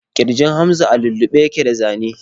Ƙirjin Hamza a lullube yake da zane.